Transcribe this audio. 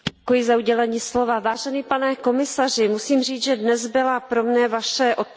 Pane komisaři, musím říct, že dnes byla pro mne Vaše odpověď nedostatečná.